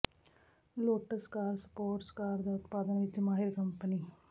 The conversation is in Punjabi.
ਲੋਟਸ ਕਾਰ ਸਪੋਰਟਸ ਕਾਰ ਦਾ ਉਤਪਾਦਨ ਵਿਚ ਮਾਹਿਰ ਕੰਪਨੀ